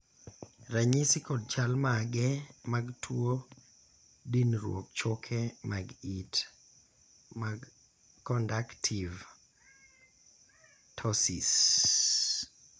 ranyisi kod chal mage mag tuo dinruok choke mag it mar kondactiv ptosis